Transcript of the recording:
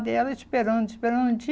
E ela esperando, esperando.